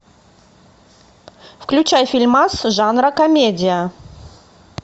включай фильмас жанра комедия